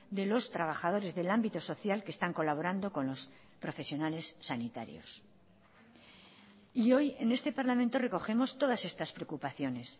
de los trabajadores del ámbito social que están colaborando con los profesionales sanitarios y hoy en este parlamento recogemos todas estas preocupaciones